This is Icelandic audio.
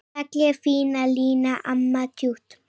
Fallega fína Lína, amma tjútt.